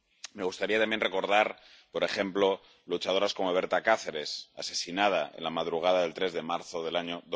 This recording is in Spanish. Me gustaría también recordar, por ejemplo, a luchadoras como Berta Cáceres, asesinada en la madrugada del 3 de marzo del año